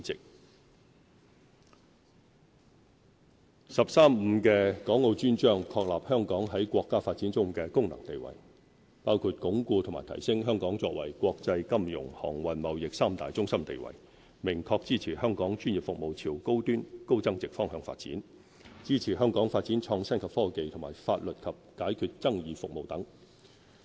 國家十三五規劃"十三五"的《港澳專章》，確立香港在國家發展中的功能定位，包括鞏固和提升香港作為國際金融、航運、貿易三大中心地位；明確支持香港專業服務朝高端高增值方向發展，支持香港發展創新及科技和法律及解決爭議服務等。